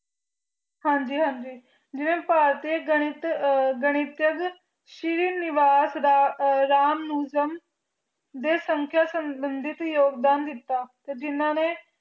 ਹਨ ਜੀ ਹਨ ਜੀ ਜਿਵੇ ਭਾਰਤੀ ਗਨਿਤ ਆ ਗਨਿਤਕ ਸ਼ੀਨ ਲਿਬਾਸ ਦਾ ਰਾਮ ਰਾਮ ਨੁਜਾਮ ਦੇ ਸੰਕਟ ਸਜ਼ ਸਮੰਦੀ ਯੋਗ ਬਣ ਤਾ ਟੀ ਜਿਨਾ ਨੀ